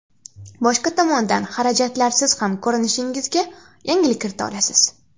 Boshqa tomondan, xarajatlarsiz ham ko‘rinishingizga yangilik kirita olasiz.